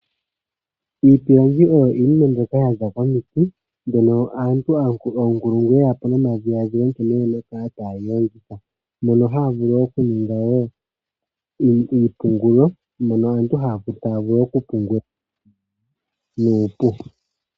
Iipilangi oyo iinima mbyoka ya za komiti. Mbyono oonkulungu ye ya po nomadhiladhilo nkene ye na oku kala taa yi lobgitha, mono haa vulu oku ninga wo iioungulo, mono aantu haa vulu okupungula.